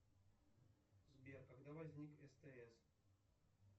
сбер когда возник стс